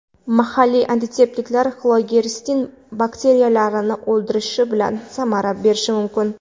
Mahalliy antiseptiklar Xlorgeksidin bakteriyalarni o‘ldirishi bilan samara berishi mumkin.